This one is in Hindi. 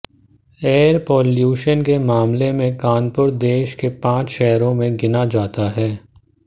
एयर पाल्यूशन के मामले में कानपुर देश के पांच शहरों में गिना जाता है